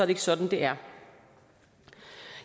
ikke sådan det er